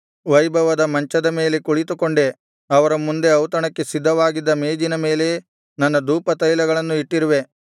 ವೈಭವದ ಮಂಚದ ಮೇಲೆ ಕುಳಿತುಕೊಂಡೆ ಅವರ ಮುಂದೆ ಔತಣಕ್ಕೆ ಸಿದ್ಧವಾಗಿದ್ದ ಮೇಜಿನ ಮೇಲೆ ನನ್ನ ಧೂಪತೈಲಗಳನ್ನು ಇಟ್ಟಿರುವೆ